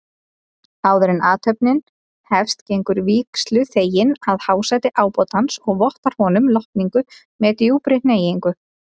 Áðuren athöfnin hefst gengur vígsluþeginn að hásæti ábótans og vottar honum lotningu með djúpri hneigingu.